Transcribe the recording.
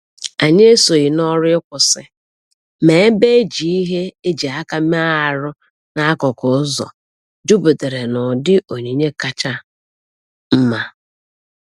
Anyị esoghị n’ọrụ ịkwụsị, ma ebe e ji ihe e ji aka mee arụ n'akụkụ ụzọ juputara n’ụdị onyinye kacha mma.